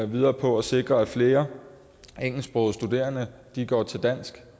videre på at sikre at flere engelsksprogede studerende går til dansk